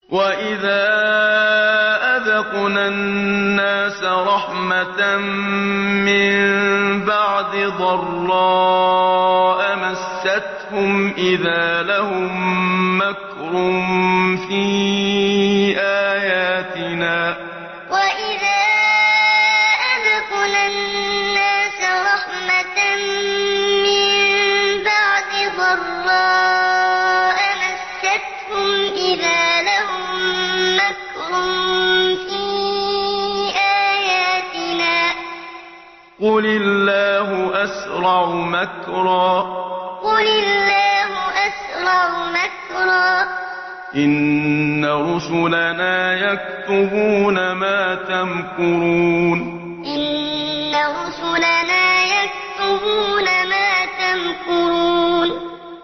وَإِذَا أَذَقْنَا النَّاسَ رَحْمَةً مِّن بَعْدِ ضَرَّاءَ مَسَّتْهُمْ إِذَا لَهُم مَّكْرٌ فِي آيَاتِنَا ۚ قُلِ اللَّهُ أَسْرَعُ مَكْرًا ۚ إِنَّ رُسُلَنَا يَكْتُبُونَ مَا تَمْكُرُونَ وَإِذَا أَذَقْنَا النَّاسَ رَحْمَةً مِّن بَعْدِ ضَرَّاءَ مَسَّتْهُمْ إِذَا لَهُم مَّكْرٌ فِي آيَاتِنَا ۚ قُلِ اللَّهُ أَسْرَعُ مَكْرًا ۚ إِنَّ رُسُلَنَا يَكْتُبُونَ مَا تَمْكُرُونَ